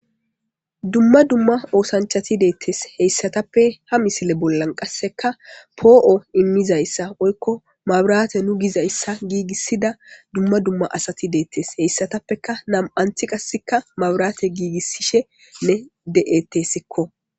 dumma dumma oosanchati deettes heyssatappe ha misile bollan qasseka poo7o immizayssa oykko maburaate nu gizayssa giigissida dumma dumma asati deettes heyssatappeka nam7anthi qasseka mabraate giigisishene de7ettesikko